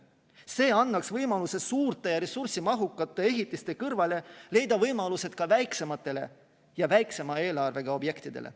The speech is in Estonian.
See annaks võimaluse suurte ja ressursimahukate ehitiste kõrval leida võimalusi ka väiksematele ja väiksema eelarvega objektidele.